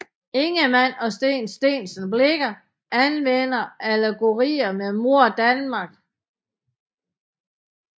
Ingemann og Steen Steensen Blicher anvendte allegorier med Mor Danmark